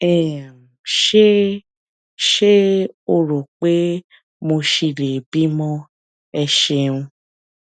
um ṣé ṣé o rò pé mo ṣì lè bímọ ẹ ṣeun